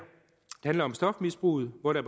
handler om stofmisbruget hvor der